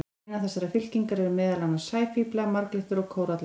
Innan þessarar fylkingar eru meðal annars sæfíflar, marglyttur og kórallar.